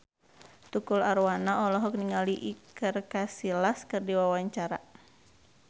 Tukul Arwana olohok ningali Iker Casillas keur diwawancara